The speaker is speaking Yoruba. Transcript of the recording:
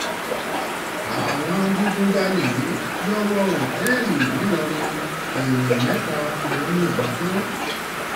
àwọn adigunjalè yà wọ òtẹ́ẹ̀lì ńìlọrin èèyàn mẹ́ta ni wọ́n yìnbọn fún